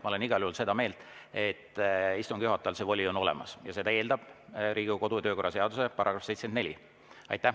Ma olen igal juhul seda meelt, et istungi juhatajal see voli on olemas ja seda eeldab Riigikogu kodu‑ ja töökorra seaduse § 74.